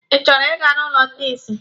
Ị chọrọ Ị ga n'ụlọ ndị isi?